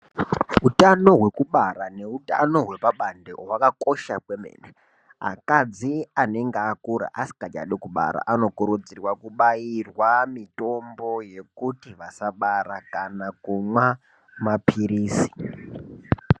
Hutano hwekubara ne utano hwepa bande hwakakosha kwemene akadzi anenge akura asikachadi kubara ano kudzirwa kubairwa mitombo yekuti vasa bara kana kumwa mapirisi.